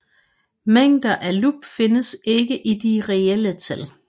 Mængder uden lub findes ikke i de reelle tal